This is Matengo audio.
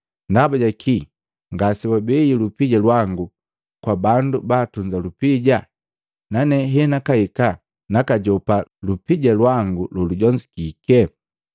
Ndaba jaki ngase wabei lupija lwangu kwa bandu baatunza lupija, nane henakahika nakajopa lupija lwangu lolujonzukike?’